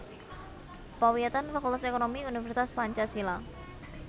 Pawiyatan Fakultas Ekonomi Universitas Pancasila